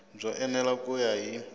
byo enela ku ya hi